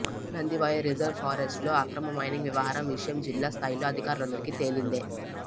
Nandivaya reserve ఫారెస్ట్లో అక్రమ mining వ్యవహారం విషయం జిల్లా స్థాయిలో అధికారులందరికీ తెలిందే